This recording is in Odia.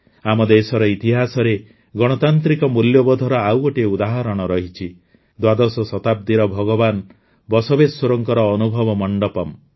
ଆମ ଦେଶର ଇତିହାସରେ ଗଣତାନ୍ତ୍ରିକ ମୂଲ୍ୟବୋଧର ଆଉ ଗୋଟିଏ ଉଦାହରଣ ରହିଛି ଦ୍ୱାଦଶ ଶତାବ୍ଦୀର ଭଗବାନ ବସବେଶ୍ୱରଙ୍କ ଅନୁଭବ ମଣ୍ଡପମ୍